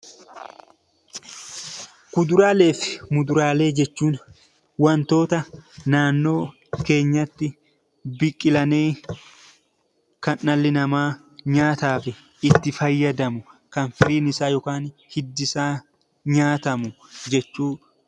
Kuduraalee fi muduraalee jechuun waantota naannoo keenyatti biqilanii kan dhalli namaa nyaataaf itti fayyadamu kan firiin isaa yookaan hiddi isaa nyaatamu jechuudha.